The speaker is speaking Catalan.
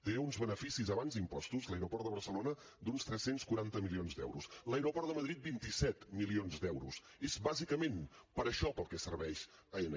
té uns beneficis abans impostos l’aeroport de barcelona d’uns tres cents i quaranta milions d’euros l’aeroport de madrid vint set milions d’euros és bàsicament per a això per al que serveix aena